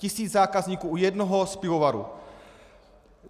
Tisíc zákazníků u jednoho z pivovarů.